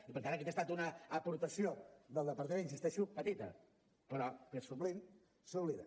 i per tant aquesta ha estat una aportació del departament hi insisteixo petita però que sovint s’oblida